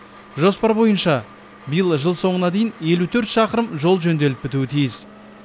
жоспар бойынша биыл жыл соңына дейін елу төрт шақырым жол жөнделіп бітуі тиіс